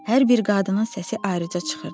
Hər bir qadının səsi ayrıca çıxırdı.